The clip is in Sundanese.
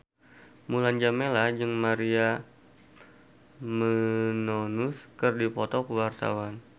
Mulan Jameela jeung Maria Menounos keur dipoto ku wartawan